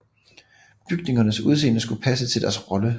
Bygningernes udseende skulle passe til deres rolle